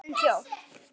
Klofin þjóð.